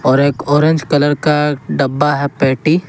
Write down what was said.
और एक orange colour का डब्बा है पेटी।